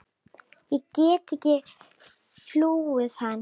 Ég get ekki flúið hann.